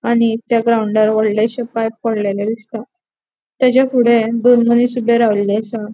आणि त्या ग्राउन्डर वोड़लेशे पाइप पडलेले दिसता तेचे फुडे दोन मनिस ऊबे रावले आसा.